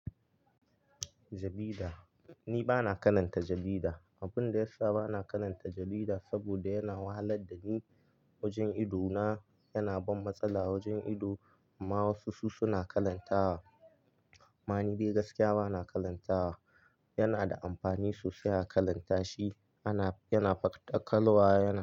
Jarida, ni ba na karanta jarida. Abun da ya sa ba na karanta jarida saboda yana wahalar da ni wajen idona. Yana ban matsala wajen ido amma wasu su suna karantawa. Ma ni dai gaskiya ba na karantawa. Yana da amfani sosai a karanta shi. Ana, yana ɗaukar waya.